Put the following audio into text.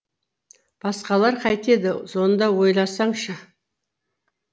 басқалар қайтеді соны да ойласаңшы